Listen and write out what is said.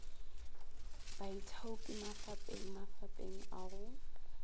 baithaopi mafapeng mafapeng a go